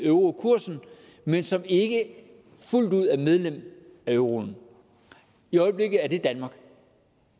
eurokursen men som ikke fuldt ud er medlem af euroen i øjeblikket er det danmark